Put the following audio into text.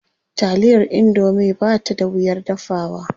Taliyar indomie ba ta da wuyar dafawa.